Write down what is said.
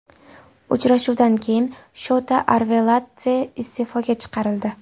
Uchrashuvdan keyin Shota Arveladze iste’foga chiqarildi.